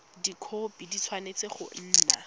dikhopi di tshwanetse go nna